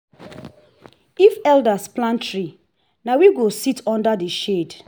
if elders plant tree na we go sit under the shade.